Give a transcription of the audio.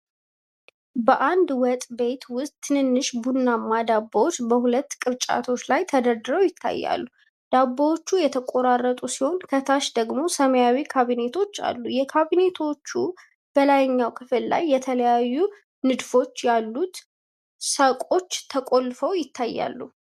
በአንድ ወጥ ቤት ውስጥ ትንንሽ ቡናማ ዳቦዎች በሁለት ቅርጫቶች ላይ ተደርድረው ይታያሉ። ዳቦዎቹ የተቆራረጡ ሲሆን፣ ከታች ደግሞ ሰማያዊ ካቢኔቶች አሉ። የካቢኔቶቹ በላይኛው ክፍል ላይ የተለያዩ ንድፎች ያሉት ሰቆች ተለጥፈው ይታያሉ።